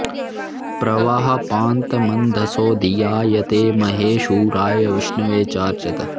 प्र वः पान्तमन्धसो धियायते महे शूराय विष्णवे चार्चत